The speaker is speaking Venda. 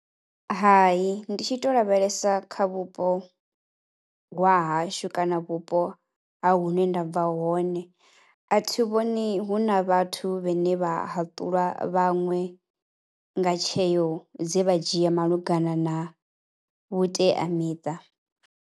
Hai ndi tshi tou lavhelesa kha vhupo vhaa hashu kana vhupo ha hune nda bva hone, a thi vhoni hu na vhathu vhene vha haṱulwa vhaṅwe nga tsheo dze vha dzhia malugana na vhuteamiṱa.